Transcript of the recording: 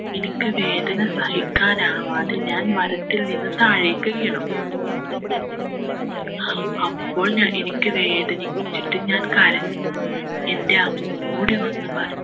എനിക്ക് വേദന സഹിക്കാനാവാതെ ഞാൻ മരത്തിൽ നിന്നും താഴേക്ക് വീണു അപ്പോൾ ഞാൻ എനിക്ക് വേദനിച്ചിട്ട് ഞാൻ കരഞ്ഞു എൻ്റെ അമ്മ ഓടി വന്ന് പറഞ്ഞു